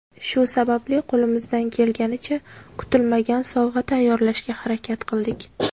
Shu sababli qo‘limizdan kelganicha kutilmagan sovg‘a tayyorlashga harakat qildik.